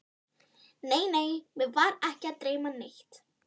Nei, nei, mig var ekki að dreyma neitt.